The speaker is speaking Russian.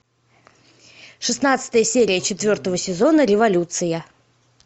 шестнадцатая серия четвертого сезона революция